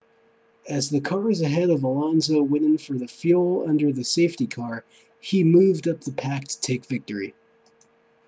as the cars ahead of alonso went in for fuel under the safety car he moved up the pack to take victory